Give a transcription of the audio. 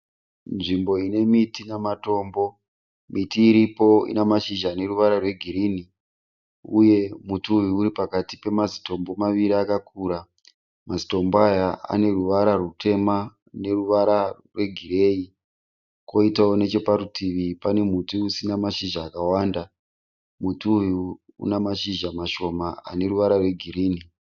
Nzvimbo inemiti namatambo, miti iripo inemashizha aneruvara rwegirini uye muti uyu uripakati pamazitombo maviri akakura. Mazitombo aya aneruvara rutema neruvara rwegiriyei koitawo necheparutivi pane muti usina mashizha akawanda, muti uyu unamashizha mashoma aneruvara rwegirini.